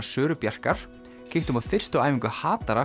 Söru Bjarkar kíktum á fyrstu æfingu